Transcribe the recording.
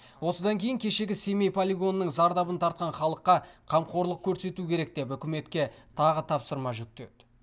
осыдан кейін кешегі семей полигонының зардабын тартқан халыққа қамқорлық көрсету керек деп үкіметке тағы тапсырма жүктеді